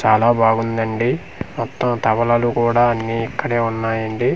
చాలా బాగుందండి మొత్తం తవలలు కూడా అన్ని ఇక్కడే ఉన్నాయండి.